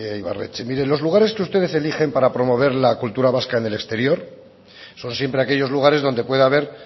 ibarretxe mire los lugares que ustedes eligen para promover la cultura vasca en el exterior son siempre aquellos lugares donde puede haber